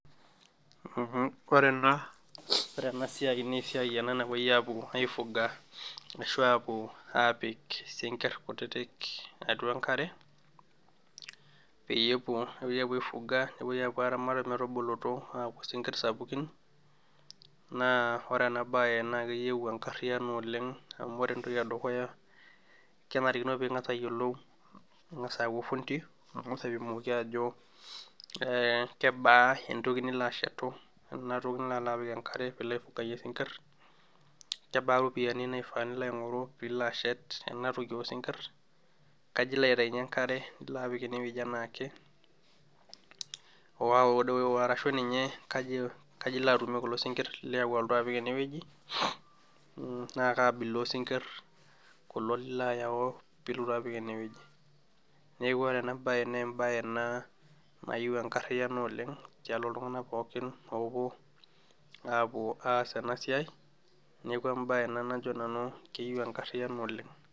Ore ena siai naa esiai ena napuoi aifuga ashu apuo, apik sinkie kutitik atua enkare, peyie epuo ai Fuga nepuoi apuo aramat metubulutu aaku sinkie sapukin, naa ore ena bae naa keyieu enkariyiano oleng amu ore entoki edukuya kenarikino pee ingas ayiolou, ang'as aaku orfundi, ang'as aipimoki aajo, we kebaa entoki nilo ashetu ena toki nanapita enkare pee ilo aipangie sinkir, kebaa iropiyiani nilo aing'oru pee ilo atum ena toki oosinkir. kaji Iko aitayunye enkare ilo apik ene wueji, enaake, arashu ninye kaji ilo atumie kulo sinkie liyaua. alaotu apik ene wueji naa kaabila oosinkir, kulo nilo ayau pee lotu apik ene wueji. neeku ore ena bae naa ebae ena nayieu enkariyiano oleng, tialo iltunganak pookin oopuo aapuo aa ena siai, neeku ebae ena najo nanu keyieu, enkariyiano oleng.